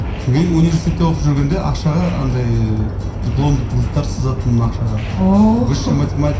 университетте оқып жүргенде ақшаға андай дипломдық жұмыстар сызатынмын ақшаға ооо высший математик